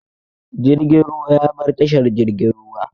Jirgin ruwan ya bar tashar jirgin ruwa.